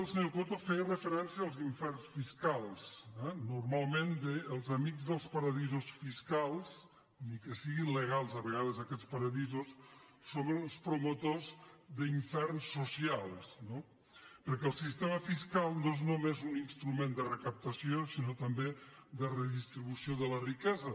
el senyor coto feia referència als inferns fiscals eh normalment els amics dels paradisos fiscals ni que siguin legals a vegades aquests paradisos són els promotors d’ inferns socials no perquè el sistema fiscal no és només un instrument de recaptació sinó també de redistribució de la riquesa